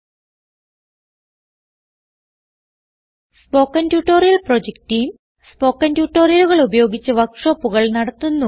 spoken tutorial project team spoken ട്യൂട്ടോറിയലുകൾ ഉപയോഗിച്ച് വർക്ക് ഷോപ്പുകൾ നടത്തുന്നു